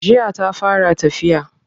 Jiya ta fara tafiya.